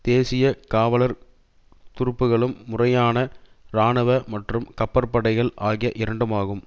தேசிய காவலர் துருப்புக்களும் முறையான இராணுவ மற்றும் கப்பற்படைகள் ஆகிய இரண்டுமாகும்